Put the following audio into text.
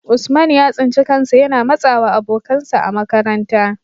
Usman ya tsinci kansa yana matsawa abokansa a makaranta,